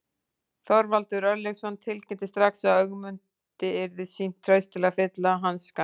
Þorvaldur Örlygsson tilkynnti strax að Ögmundi yrði sýnt traust til að fylla hans skarð.